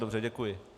Dobře děkuji.